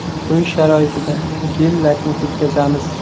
Uy sharoitida gel-lakni ketkazamiz.